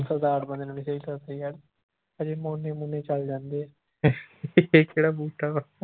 ਸਰਦਾਰ ਬੰਦੇ ਨੂੰ ਵੀ ਸਹੀ ਗੱਲ ਸਹੀ ਗੱਲ ਹਜੇ ਮੋਨੇ ਮੁਨੇ ਚੱਲ ਜਾਂਦੇ ਹੈ